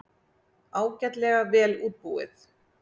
Ágætlega vel útbúið.